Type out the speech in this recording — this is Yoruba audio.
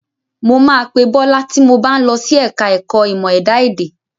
Mo máa pe Bọ́lá ti mo bá ń lọ sí ẹ̀ka ẹ̀kọ́ ìmọ̀ ẹ̀dá èdè.